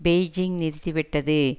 Beijing நிறுத்திவிட்டது